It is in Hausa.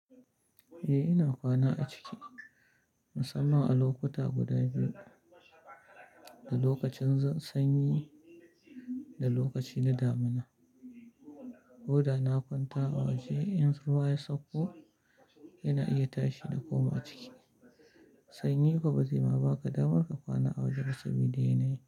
Eh ina kwana a ciki musamman a lokuta guda biyu, da lokacin sanyi da lokaci na damina. Koda na kwanta a waje in ruwa ya sauko Yana iya tashi na koma a ciki. Sanyi kuwa ba zai ma baka damar ka kwana a waje ba saboda yanayi.